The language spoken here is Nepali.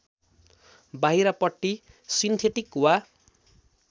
बाहिरपट्टि सिन्थेटिक वा